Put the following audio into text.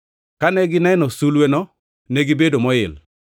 Kane gineno sulweno, negibedo moil.